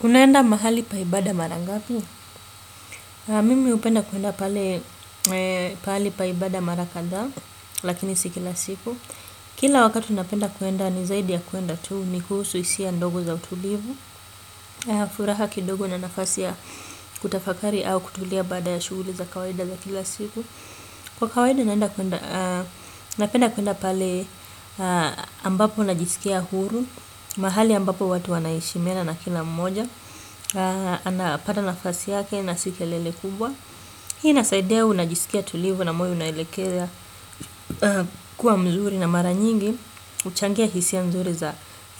Kunaenda mahali pa ibada mara ngapi? Mimi hupenda kuenda pale pa ibada mara kadhaa lakini si kila siku. Kila wakati napenda kuenda ni zaidi ya kuenda tuu ni kuhusu hisia ndogo za utulivu. Furaha kidogo na nafasi ya kutafakari au kutulia bada ya shughuli za kawaida za kila siku. Kwa kawaida napenda kuenda pale ambapo najisikia huru. Mahali ambapo watu wanaheshimiana na kila mmoja. Anapanda nafasi yake na si kelele kubwa. Hii inasaidea unajisikia tulivu na mwili unaelekeza kuwa mzuri na mara nyingi huchangia hisia nzuri za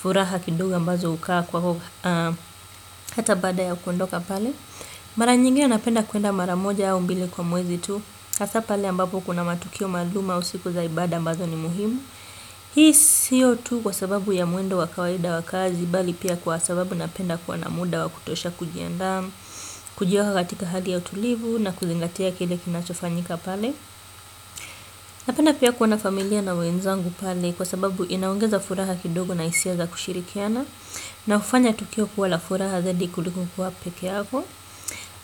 furaha kidogo ambazo hukaa kwa ho. Hata baada ya kuondoka pale mara nyingine napenda kuenda mara moja ya au mbili kwa mwezi tu hasaa pale ambapo kuna matukio maalum au siku za ibada ambazo ni muhimu. Hii siyo tu kwa sababu ya mwendo wa kawaida wa kazi bali pia kwa sababu napenda kuwa na muda wa kutosha kujiandaa. Kujua katika hali ya utulivu na kuzingatia kile kinachofanyika pale. Napenda pia kuwa na familia na wenzangu pale kwa sababu inaongeza furaha kidogo na hisia za kushirikiana. Na kufanya tukio kuwa la furaha zaidi kuliko kuwa pekeako.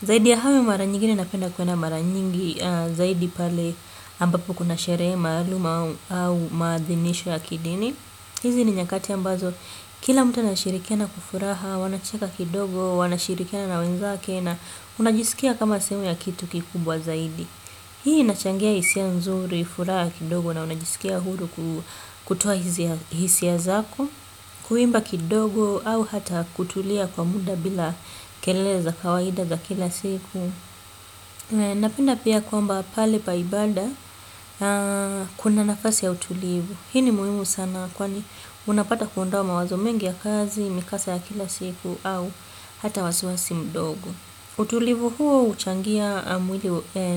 Zaidi ya hayo mara nyigine napenda kwa na mara nyingi zaidi pale ambapo kuna sherehe maalum au maathinisho ya kidini. Hizi ni nyakati ambazo, kila mtu anashirikiana kwa furaha, wanacheka kidogo, wanashirikiana na wenzake na unajisikia kama sehemu ya kitu kikubwa zaidi. Hii inachangia hisia nzuri, furaha kidogo na unajisikia huru kutoa hisia zako, kuimba kidogo au hata kutulia kwa muda bila kelele za kawaida za kila siku. Napenda pia kwamba pale pa ibada kuna nafasi ya utulivu. Hii ni muhimu sana kwani unapata kuondoa mawazo mengi ya kazi, mikasa ya kila siku au hata wasiwasi mdogo. Utulivu huo uchangia mwili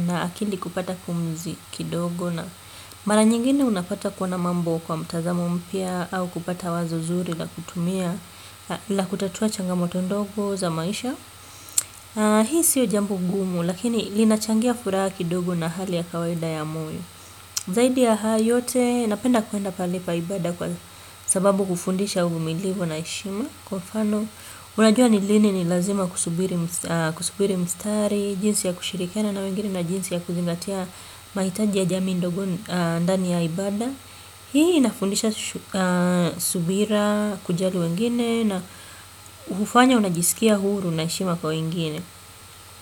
na akili kupata pumzi kidogo. Mara nyingine unapata kuona mambo kwa mtazamo mpya au kupata wazo zuri la kutumia la kutatua changamoto ndogo za maisha. Hii sio jambo gumu lakini linachangia furaha kidogo na hali ya kawaida ya moyo. Zaidi ya haya yote napenda kuenda pahali pa ibada kwa sababu kufundisha uvumilivu na heshima. Kwa mfano unajua ni lini ni lazima kusubiri mstari. Jinsi ya kushirikana na wengine na jinsi ya kuzingatia mahitaji ya jamii ndogo ndani ya ibada. Hii inafundisha subira kujali wengine na ufanya unajisikia huru na heshima kwa wengine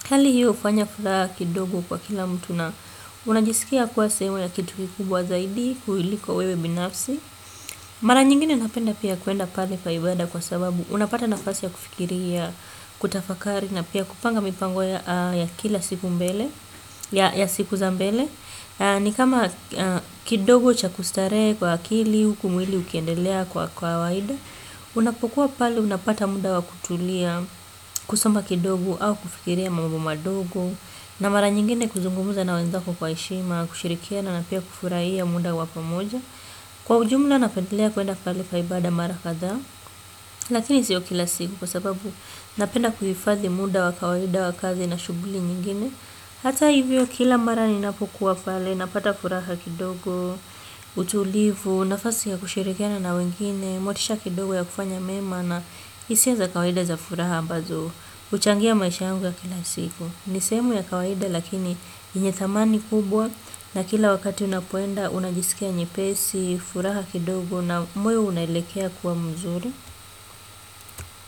hali hiyo ufanya furaha kidogo kwa kila mtu na unajisikia kwa sehemu ya kitu kubwa zaidi kulilo wewe binafsi. Mara nyingine napenda pia kuenda pale pa ibada kwa sababu unapata nafasi ya kufikiria, kutafakari na pia kupanga mipango ya kila siku za mbele. Ni kama kidogo cha kustarehe kwa akili, huku mwili ukiendelea kwa kawaida. Unapokuwa pale unapata muda wa kutulia kusoma kidogo au kufikiria mambo madogo. Na mara nyingine kuzungumza na wenzako kwa heshima, kushirikiana na pia kufurahia muda wa pamoja. Kwa ujumla napendelea kuenda pale pai bada mara kadha. Lakini siyo kila siku kwa sababu napenda kuhifadhi muda wa kawaida wa kazi na shughuli nyingine. Hata hivyo kila mara ninapokuwa pale, napata furaha kidogo, utulivu, nafasi ya kushirikiana na wengine, motisha kidogo ya kufanya mema na hisia za kawaida za furaha ambazo, uchangia maisha yangu ya kila siku. Ni sehemu ya kawaida lakini yenye thamani kubwa na kila wakati unapoenda unajisikia nyepesi, furaha kidogo na moyo unalekea kuwa mzuri.